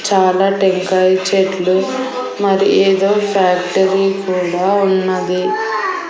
చాలా టెంకాయ చెట్లు మరి ఏదో ఫ్యాక్టరీ కూడా ఉన్నది.